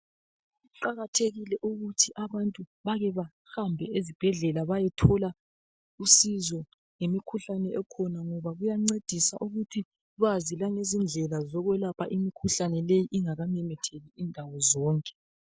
Kuqakathekile ukuthi abantu bake bahambe esibhedlela bayethola usizo ngemikhuhlane ekhona, ngoba kuyancedisa ukuthi bazi langezindlela zokwelapha imikhuhlane le ingakamemetheki indawo zonke.